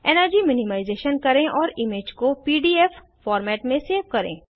energy minimisation करें और image को पीडीएफ फॉर्मेट में सेव करें